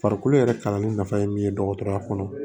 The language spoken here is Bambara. Farikolo yɛrɛ kalanni nafa ye min ye dɔgɔtɔrɔya kɔnɔ